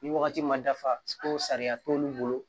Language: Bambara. Ni wagati ma dafa ko sariya t'olu bolo